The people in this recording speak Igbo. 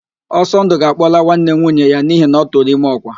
Ọsọndụ ga-akpọla nwanne nwunye ya n'ihi na ọ tụrụ ime ọ́kwà